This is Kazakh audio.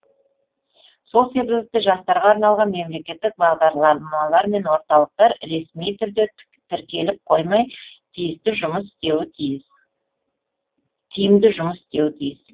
сол себепті жастарға арналған мемлекеттік бағдарламалар мен орталықтар ресми түрде тіркеліп қоймай тиімді жұмыс істеуі тиіс